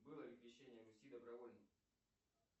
было ли крещение руси добровольным